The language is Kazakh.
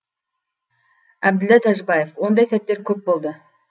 әбділда тәжібаев ондай сәттер көп болды